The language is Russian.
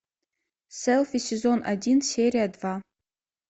селфи сезон один серия два